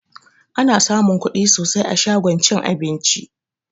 Ana samun kuɗi sosai a shagon cin abinci